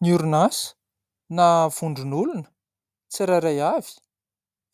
Ny orinasa na vondron'olona tsirairay avy